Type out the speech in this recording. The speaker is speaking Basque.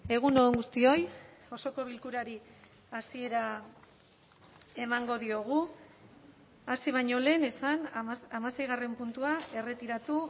egun on guztioi osoko bilkurari hasiera emango diogu hasi baino lehen esan hamaseigarren puntua erretiratu